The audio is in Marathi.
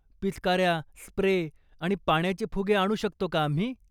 पिचकाऱ्या, स्प्रे आणि पाण्याचे फुगे आणू शकतो का आम्ही?